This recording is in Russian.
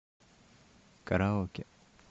караоке